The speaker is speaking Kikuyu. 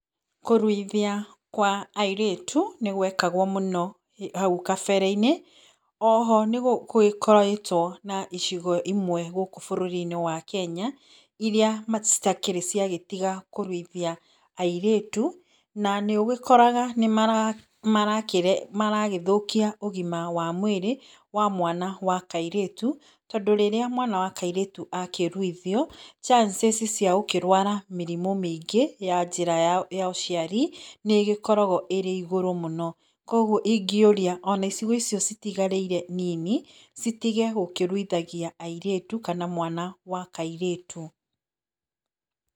Kũruithia kwa airĩtu, nĩgwekagwo mũno hau gabere-inĩ. Oho nĩgũkoretwo na icigo imwe gũkũ bũrũri-inĩ wa Kenya, iria citakĩrĩ ciagĩtiga kũruithia airĩtu. Na nĩũgĩkoraga nĩmaragĩthũkia ũgima wa mwĩrĩ wa mwana wa kairĩtu, tondũ rĩrĩa mwana wa kairĩtu akĩruithio, chances ciagũkĩrwara mĩrimũ mĩingĩ ya njĩra ya ũciari, nĩ ĩgĩkoragwo ĩrĩ igũrũ mũno. Koguo ingĩũria ona icigo icio citigarĩire nini, citige gũkĩruithagia airĩtu, kana mwana wa kairĩtu.